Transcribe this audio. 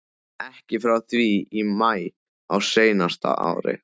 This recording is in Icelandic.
Ekki frá því í maí á seinasta ári.